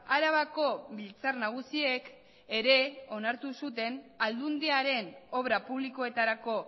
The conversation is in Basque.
arabako biltzar nagusiek ere onartu zuten aldundiaren obra publikoetarako